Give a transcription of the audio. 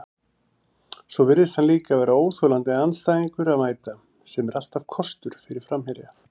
Svo virðist hann líka vera óþolandi andstæðingur að mæta, sem er alltaf kostur fyrir framherja.